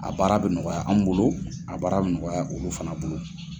A baara bɛ nɔgɔya an bolo a baara bɛ nɔgɔya olu fana bolo.